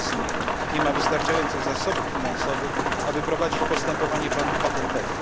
Wiele z nich nie ma wystarczających zasobów finansowych, aby prowadzić postępowanie patentowe.